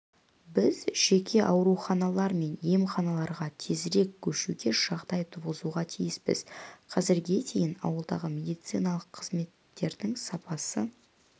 біз жеке ауруханалар мен емханаларға тезірек көшуге жағдай туғызуға тиіспіз қазірге дейін ауылдағы медициналық қызметтердің сапасы